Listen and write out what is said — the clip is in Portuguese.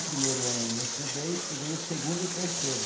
O primeiro ano eu não estudei, estudei o segundo e o terceiro.